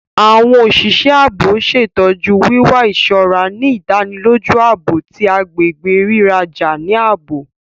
Awọn oṣiṣẹ ààbò ṣetọju wiwa iṣọra, ni ìdánilójú ààbò ti agbègbè riraja ni ààbò